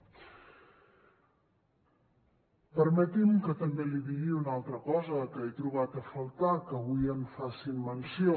permeti’m que també li digui una altra cosa que he trobat a faltar que avui en facin menció